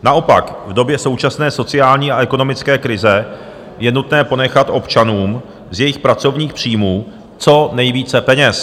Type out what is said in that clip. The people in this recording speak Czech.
Naopak, v době současné sociální a ekonomické krize je nutné ponechat občanům z jejich pracovních příjmů co nejvíce peněz.